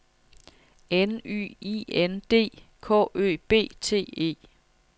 N Y I N D K Ø B T E